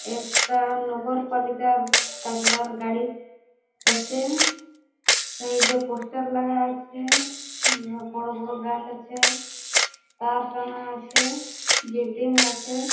একটা নগর পালিকার কাচড়ার গাড়ি যাচ্ছে এই দিকে পোস্টার লাগা আছে বড় বড় গাছ আছে তার টানা আছে বিল্ডিং আছে ।